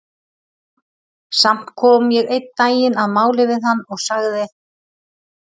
Samt kom ég einn daginn að máli við hann og sagði